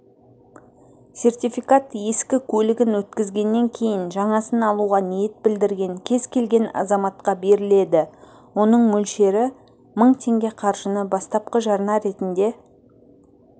сертификат ескі көлігін өткізгеннен кейін жаңасын алуға ниет білдірген кез келген азаматқа беріледі оның мөлшері мың теңге қаржыны бастапқы жарна ретінде